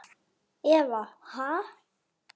Eva: Ha?